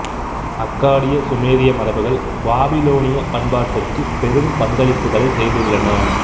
அக்காடிய சுமேரிய மரபுகள் பபிலோனியப் பண்பாட்டுக்குப் பெரும் பங்களிப்புக்களைச் செய்துள்ளன